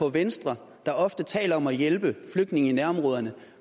at venstre der ofte taler om at hjælpe flygtninge i nærområderne